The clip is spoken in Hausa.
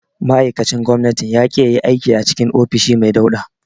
Ma'aikacin gwamnatin ya ƙi yayi aiki a cikin ofishi mai dauɗa.